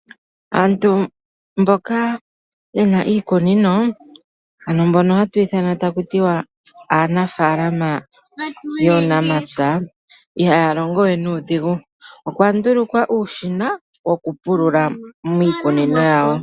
Aantu mboka yena iikunino ano mbono hatu ithana taku tiwa aanafaalama yuunamapya, ihaya longo we nuudhigu. Okwa ndulukwa uushina woku pulula miikunino yawo.